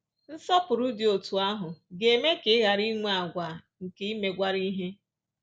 Nsọpụrụ dị otú ahụ ga-eme ka ị ghara inwe àgwà nke imegwara ihe